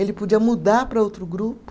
Ele podia mudar para outro grupo.